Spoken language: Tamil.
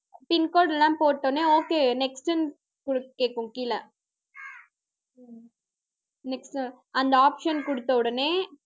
pin code லாம் போட்ட உடனே okay next ன்னு கேக்கும் கீழே next அந்த option குடுத்த உடனே